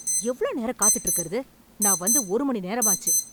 எவ்ளோ நேரம் காத்துட்டு இருக்கறது, நான் வந்து ஒரு மணி நேரமாச்சு.